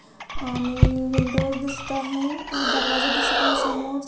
आणि विंडोज दिसत आहे दरवाजा दिसत आहे समोर.